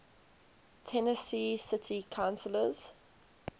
tennessee city councillors